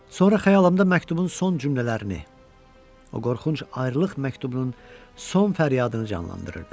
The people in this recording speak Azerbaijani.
Sonra xəyalımda məktubun son cümlələrini, o qorxunc ayrılıq məktubunun son fəryadını canlandırırdım.